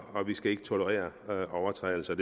vi skal ikke tolerere overtrædelser